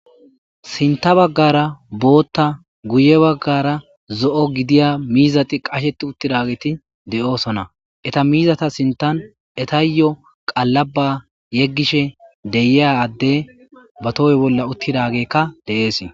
sinta baggara bootta guye baggara zo7o gidiya miizati qasheti uttidageti de7oosona eta miizata sintan etayyo qallaba yeggishe deyiyadde ba tohoy bolla uttidagekka deees